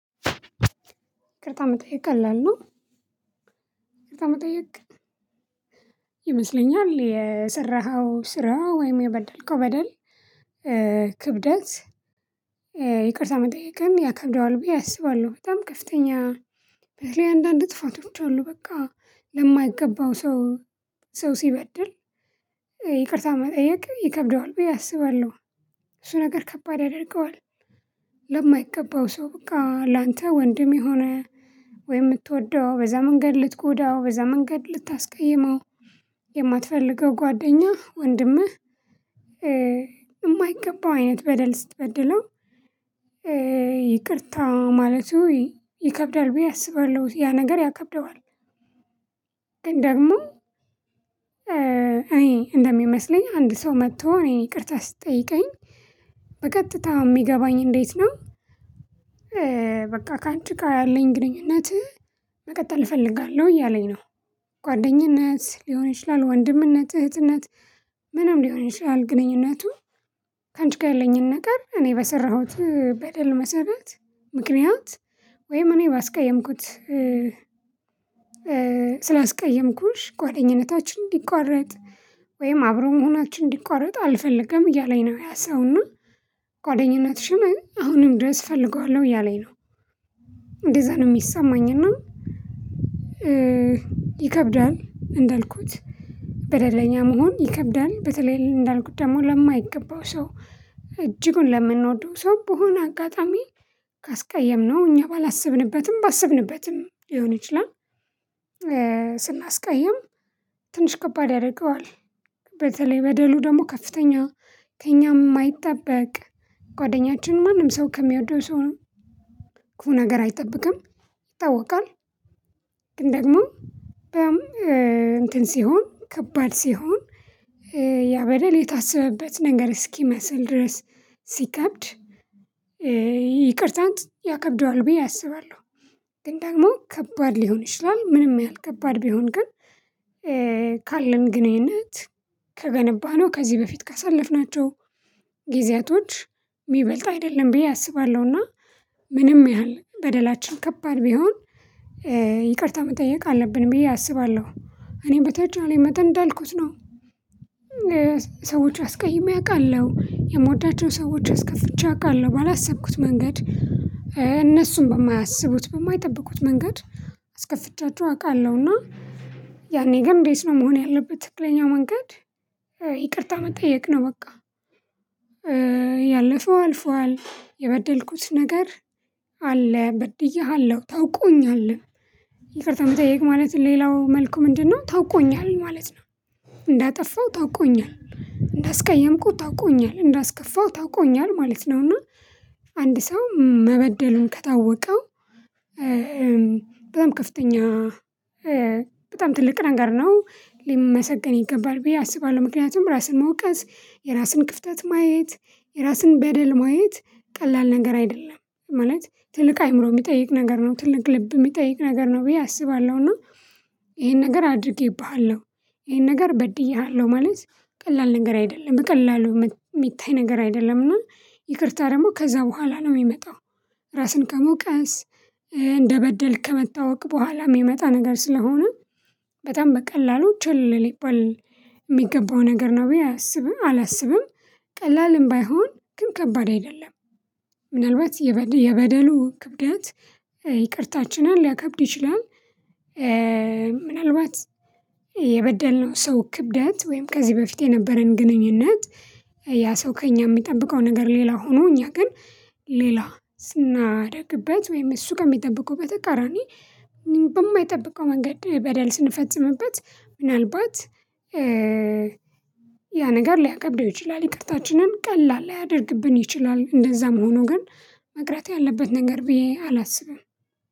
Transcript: ይቅርታ መጠየቅ ቀላል ነው። ይቅርታ መጠየቅ ይመስለኛል የሰራኸው ስራ ወይም የበደልከው በደል ክብደት ይቅርታ መጠየቅን ያከብደዋል ብዬ አስባለሁ በጣም ከፍተኛ። በተለይ አንዳንድ ጥፋቶች አሉ በቃ ለማይገባው ሰው ሰው ሲበድል ይቅርታ መጠየቅ ይከብደዋል ብዬ አስባለሁ። እሱ ነገር ከባድ ያደርገዋል። ለማይገባው ሰው በቃ ላንተ ወንድም የሆነ ወይ የምትወደው በዛ መንገድ ልትጎዳው በዛ መንገድ ልታስቀይመው የማትፈልገው ጓደኛህ ወንድምህ የማይገባው አይነት በደል ስትበድለው ይቅርታ ማለት ይከብዳል ብዬ አስባለሁ ያ ነገር ያከብደዋል። ደግሞ እኔ እንደሚመስለኝ አንድ ሰው መጥቶ እኔን ይቅርታ ሲጠይቀኝ በቀጥታ የሚገባኝ እንዴት ነው? በቃ ካንቺጋ ያለኝ ግንኙነት መቀጠል እፈልጋለሁ እያለኝ ነው። ጓደኝነት ሊሆን ይችላል ወንድምነት እህትነት ምንም ሊሆን ይችላል ግንኙነቱ ከአንች ጋር ያለኝን ነገር እኔ በሰራሁት በደል መሰረት ምክንያት ወይም እኔ ባስቀየምኩት ስላስቀየምኩሽ ጓደኝነታችን እንዲቋረጥ ወይም አብሮ መሆናችን እንዲቋረጥ አልፈልግም እያለኝ ነው ያ ሰውና ጓደኝነትሽን አሁንም ድረስ እፈልገዋለሁ እያለኝ ነው። እንደዛ ነው የሚሰማኝ እና ይከብዳል እንዳልኩት በደለኛ መሆን ይከብዳል። በተለይ እንዳልኩት ደግሞ ለማይገባው ሰው እጅጉን ለምንወደው ሰው በሆነ አጋጣሚ ካስቀየምነው እኛ ባላስብንበትም ባስብንበትም ሊሆን ይችላል። ስናስቃይም ትንሽ ከባድ ያደርገዋል በተለይ በደሉ ደግሞ ከፍተኛ ከእኛም የማይጠበቅ ጓደኛችን ማንም ሰው ከሚያወደው ሰው ክፉ ነገር አይጠብቅም። ይታወቃል ግን ደግሞ እንትን ሲሆን ከባድ ሲሆን ያበለል የታሰበበት ነገር እስኪመስል ድረስ ሲከብድ ይቅርታን ያከብደዋል ብዬ አስባለሁ። ግን ደግሞ ከባድ ሊሆን ይችላል ምንም ያህል ከባድ ቢሆን ግን ካለን ግንኙነት ከገነባነው ከዚህ በፊት ካሳለፍናቸው ጊዜያቶች የሚበልጥ አይደለም ብዬ አስባለሁና ምንም ያህል በደላችን ከባድ ቢሆን ይቅርታ መጠየቅ አለብን ብዬ አስባለሁ። እኔም በተቻለኝ መጠን እንዳልኩት ነው። ሰዎች አስቀይሜ አውቃለሁ የምወዳቸው ሰዎች አስከፍቼ አውቃለሁ ባላሰብኩት መንገድ እነሱም በማያስቡት በማይጠብቁት መንገድ አስከፍቻቸው አውቃለሁ። እና ያኔ ግን እንዴት ነው መሆን ያለበት ትክክለኛው መንገድ? ይቅርታ መጠየቅ ነው በቃ። ያለፈው አልፏል የበደልኩት ነገር አለ በድዬሃለሁ ታውቆኛል። ይቅርታ መጠየቅ ማለት ሌላው መልኩ ምንድነው ታውቆኛል ማለት ነው። እንዳጠፋው ታውቆኛል እንዳስቀየምኩህ ታውቆኛል እንዳስከፋው ታውቆኛል ማለት ነውና። አንድ ሰው መበደሉን ከታወቀው በጣም ከፍተኛ በጣም ትልቅ ነገር ነው ሊመሰገን ይገባል ብዬ አስባለሁ። ምክንያቱም ራስን መውቀስ የራስን ክፍተት ማየት የራስን በደል ማየት ቀላል ነገር አይደለም ማለት ትልቅ አይምሮ የሚጠይቅ ነገር ነው ትልቅ ልብ የሚጠይቅ ነገር ነው ብዬ አስባለሁ። እና ይሄን ነገር አድርጌብሃለሁ ይሄን ነገር በድዬሃለሁ ማለት ቀላል ነገር አይደለም በቀላሉ የሚታይ ነገር አይደለም እና ይቅርታ ደግሞ ከዛ በኋላ ነው የሚመጣው። ራስን ከመውቀስ እንደበደልክ ከመታወቅ በኋላ የሚመጣ ነገር ስለሆነ በጣም በቀላሉ ችላ ሊባል የሚገባው ነገር ነው ብዬ አላስብም ቀላልም ባይሆን ግን ከባድ አይደለም። ምናልባት የበደሉ ክብደት ይቅርታችንን ሊያከብድ ይችላል። ምናልባት የበደልነው ሰው ክብደት ወይም ከዚህ በፊት የነበረን ግንኙነት ያ ሰው ከእኛ የሚጠብቀው ነገር ሌላ ሆኖ እኛ ግን ሌላ ስናደርግበት ወይም እሱ ከሚጠብቀው በተቃራኒ በማይጠብቀው መንገድ በደል ስንፈጽምበት ምናልባት ያ ነገር ሊያከብደው ይችላል ይቅርታችንን ቀላል ሊያደርግብን ይችላል። እንደዛም ሆኖ ግን መቅረት ያለበት ነገር ብዬ አላስብም።